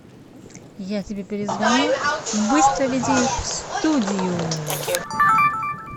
я тебе перезвоню быстро веди их в студию